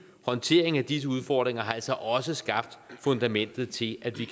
håndteringen af disse udfordringer altså også skabt fundamentet til at vi